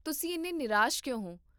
ਤੁਸੀਂ ਇੰਨੇ ਨਿਰਾਸ਼ ਕਿਉਂ ਹੋ?